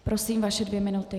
Prosím, vaše dvě minuty.